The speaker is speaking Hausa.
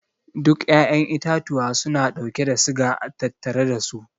Duka 'ya'yan itatuwa suna dauke da siga a tattare dasu.